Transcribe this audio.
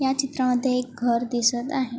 ह्या चित्रमध्ये एक घर दिसत आहे.